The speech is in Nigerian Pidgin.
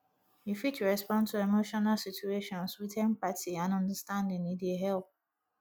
you fit respond to emotional situations with empathy and understanding e dey help